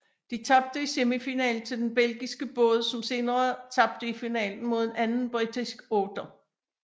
De tabte i semifinalen til den belgiske båd som senere tabte i finalen mod en anden britisk otter